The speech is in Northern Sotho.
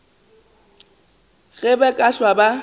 ge ba ka hlwa ba